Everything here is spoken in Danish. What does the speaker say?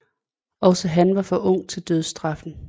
Også han var for ung til dødsstraffen